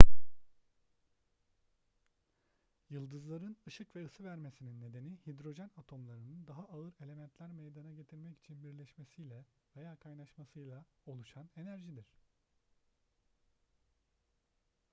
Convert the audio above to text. yıldızların ışık ve ısı vermesinin nedeni hidrojen atomlarının daha ağır elementler meydana getirmek için birleşmesiyle veya kaynaşmasıyla oluşan enerjidir